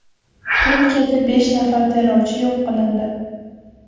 Turkiyada besh nafar terrorchi yo‘q qilindi.